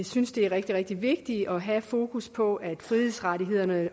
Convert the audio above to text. synes det er rigtig rigtig vigtigt at have fokus på at frihedsrettighederne